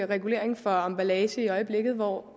regulering for emballage i øjeblikket hvor